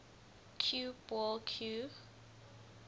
cue ball cue